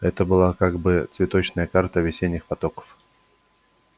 это была как бы цветочная карта весенних потоков